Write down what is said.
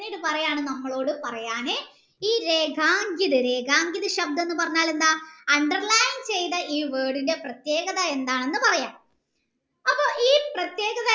പിന്നീട പറയാൻ നമ്മളോട് പറയാൻ ഈ ശബ്ദം എന്ന് പറഞ്ഞാൽ എന്താ underline ചെയ്ത ഈ word പ്രത്യേകത എന്താണ് എന്ന് പറയാൻ അപ്പൊ ഈ പ്രത്യേക